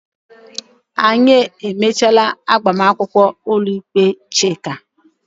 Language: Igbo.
Anyị emechaala agbamakwụkwọ ụlọikpe Chika.